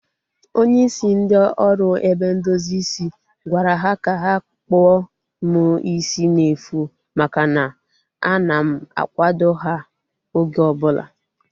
Onye isi ndị oru ebe ndozi isi gwara ha ka ha kpụọ m isi n'efu maka na a na m akwado ha oge ọbụla